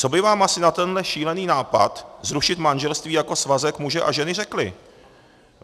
Co by vám asi na tenhle šílený nápad zrušit manželství jako svazek muže a ženy řekli?